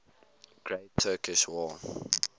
great turkish war